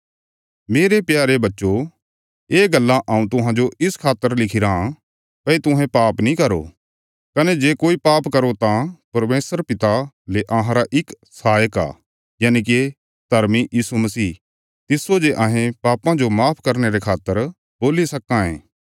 मेरे प्यारे बच्चयो ये गल्लां हऊँ तुहांजो इस खातर लिखिराँ भई तुहें पाप नीं करो कने जे कोई पाप करो तां परमेशर पिता ले अहांरा इक सहायक आ यनिके धर्मी यीशु मसीह तिस्सो जे अहें पापां जो माफ करने रे खातर बोल्ली सक्कां ये